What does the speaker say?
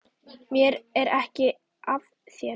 Mér er ekið af þér.